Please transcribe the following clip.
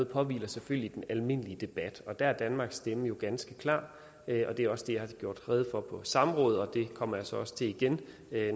påhviler selvfølgelig den almindelige debat og der er danmarks stemme jo ganske klar og det er også det jeg har gjort rede for på samråd og det kommer jeg så også til igen